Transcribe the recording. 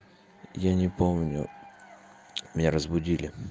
я не помню меня разбудили